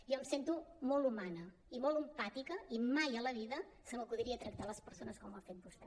jo em sento molt humana i molt empàtica i mai a la vida se m’acudiria tractar les persones com ho ha fet vostè